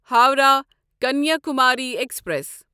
Howrah Kanyakumari express